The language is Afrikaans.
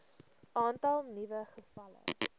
aantal nuwe gevalle